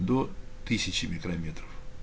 до тысячи микрометров